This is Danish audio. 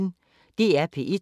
DR P1